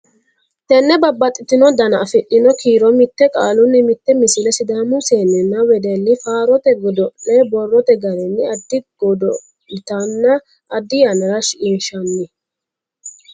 Tenne babbaxxitino dana afidhino kiiro mite qaalunni mite Misile Sidaamu seenninna wedelli faarote godo le borrote garinni addi godo litanna addi yannara shiqinshanni.